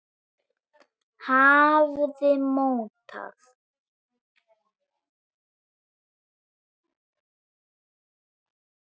hafði mótað.